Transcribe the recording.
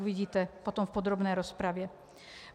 Uvidíte potom v podrobné rozpravě.